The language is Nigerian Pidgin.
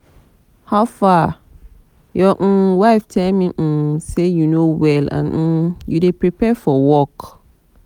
guy howfar?your um wife tell me um say you no well and um you dey prepare for work